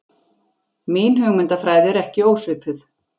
Mín hugmyndafræði er ekki ósvipuð.